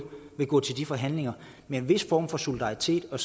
vil gå til de forhandlinger med en vis form for solidaritet og